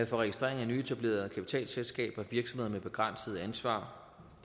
registrering af nyetablerede kapitalselskaber virksomheder med begrænset ansvar